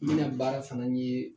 N bɛna baara fana ɲee